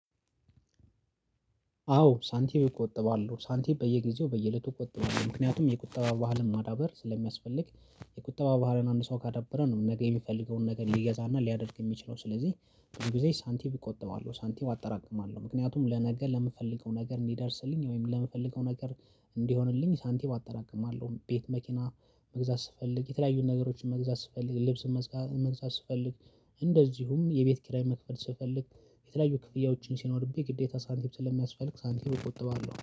አዎ ሳንቲም እቆጥባለሁ ሳንቲም በየጊዜው በየእለቱ እቆጥባለሁ ምክንያቱም የቁጠባ ባህልን ማዳበር ስለሚያስፈልግ የቁጠባ ባህልን አንድ ሰው ካደበረ ነው ነገ የሚፈልገውን ነገር ሊገዛና ሊያደርግ የሚችለው ስለዚህ። በጊዜ ሳንቲም እቆጥባለሁ ሳንቲም አጠራቅማለሁ ምክንያቱም ለነገር ለምፈልገው ነገር እንዲደርስልኝ ወይም ለምፈልገው ነገር እንዲሆንልኝ ሳንቲም አጠራቅማለሁ። ቤት መኪና መግዛት ስፈልግ የተለያዩን ነገሮችን መግዛት ስፈልግ ልብስ መግዛት ስፈልግ እንደዚሁም የቤት ኪራይ መክፈል ስፈልግ የተለያዩ ክፍያዎችን ሲኖርብኝ ግዴታ ሳንቲም ስለሚያስፈልግ ሳንቲም እቆጥባለሁ